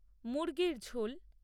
মুরগির ঝোল